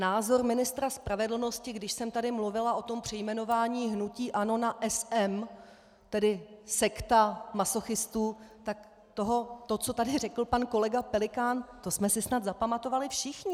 Názor ministra spravedlnosti, když jsem tady mluvila o tom přejmenování hnutí ANO na SM, tedy sekta masochistů, tak to, co tady řekl pan kolega Pelikán, to jsme si snad zapamatovali všichni.